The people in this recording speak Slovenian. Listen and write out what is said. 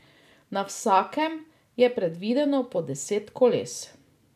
Na vsakem je predvideno po deset koles.